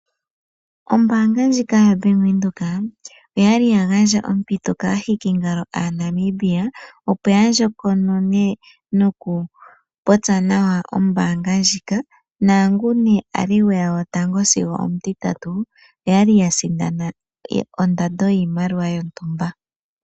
Ombaanga ndjoka yaBank Windhoek oyali ya gandja ompito kaahikingalo yomoNambia opo yandjokonone nokupopya nawa ombaanga ndjika, naangoka ili gotango sigo omutiyatu oya li yasindana ondando yiimaliwa yontumba.